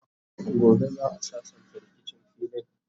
gobe za'a sassanta rikicin filin